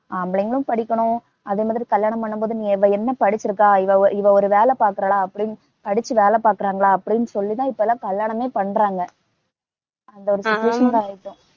ஆம்பளைங்களும் படிக்கணும், அதே மாதிரி கல்யாணம் பண்ணும் போது நீ இவ என்ன படிச்சுருக்கா, இவ ஒரு வேலை பாக்கறாளா அப்படின்னு படிச்சு வேலை பாக்கறாங்களா அப்படின்னு சொல்லி தான் இப்பல்லாம் கல்யாணமே பண்றாங்க அந்த ஒரு situation க்கு ஆயிட்டோம்.